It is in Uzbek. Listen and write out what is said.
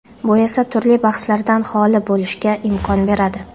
Bu esa turli bahslardan xoli bo‘lishga imkon beradi.